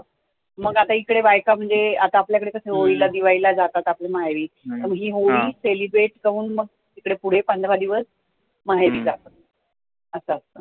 मग इकडे बायका म्हणजे आता आपल्या कडे होळीला दिवाळीला जातात आपल्या माहेरी त्यामुळे ही होळी celebrate करुन मग तिकडे पुढे पंधरा दिवस माहेरी जातात असं असतं